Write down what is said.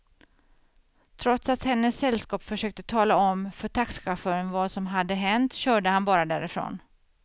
Trots att hennes sällskap försökte tala om för taxichauffören vad som hade hänt körde han bara därifrån.